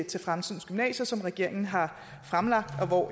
til fremtidens gymnasier som regeringen har fremlagt